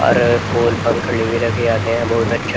और फूल पंखली भी रखे जाते हैं बहुत अच्छे --